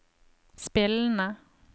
spillende